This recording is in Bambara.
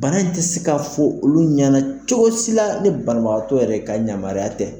Bana in ti se ka fɔ olu ɲana cogo si la, ni banabagatɔ yɛrɛ ka yamariya tɛ.